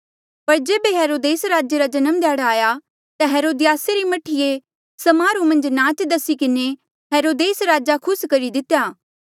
पर जेबे हेरोदेस राजे रा जन्म ध्याड़ा आया ता हेरोदियासा री मह्ठीऐ समारोहा मन्झ नाच दसी किन्हें हेरोदेस राजा खुस करी दितेया